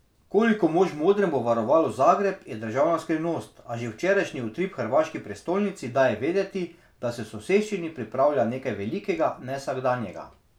Koliko mož v modrem bo varovalo Zagreb, je državna skrivnost, a že včerajšnji utrip v hrvaški prestolnici daje vedeti, da se v soseščini pripravlja nekaj velikega, nevsakdanjega.